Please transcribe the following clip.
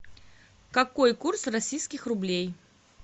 какой курс российских рублей